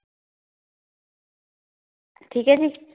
ਠੀਕ ਏ ਜੀ